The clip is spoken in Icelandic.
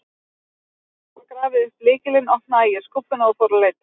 Eftir að hafa grafið upp lykilinn opnaði ég skúffuna og fór að leita.